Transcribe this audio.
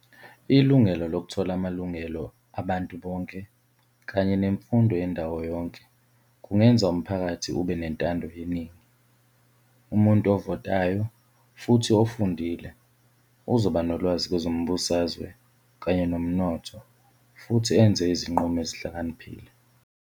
Ilungelo lokuthola amalungelo abantu bonke, kanye nemfundo yendawo yonke kungenza umphakathi ube nentando yeningi. Umuntu ovatayo futhi ofundile uzoba nolwazi kwezombusazwe kanye nomnotho futhi enze izinqumo ezihlakaniphile.